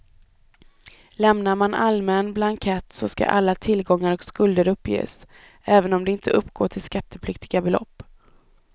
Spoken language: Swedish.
Lämnar man allmän blankett så ska alla tillgångar och skulder uppges även om de inte uppgår till skattepliktiga belopp.